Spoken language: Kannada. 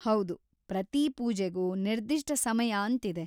ಹೌದು, ಪ್ರತೀ ಪೂಜೆಗೂ ನಿರ್ದಿಷ್ಟ ಸಮಯ ಅಂತಿದೆ.